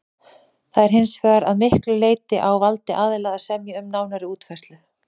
Það er hins vegar að miklu leyti á valdi aðila að semja um nánari útfærslu.